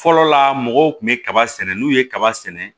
Fɔlɔ la mɔgɔw kun bɛ kaba sɛnɛ n'u ye kaba sɛnɛ